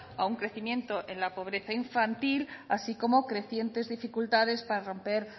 a un crecimiento en la pobreza infantil así como crecientes dificultades para romper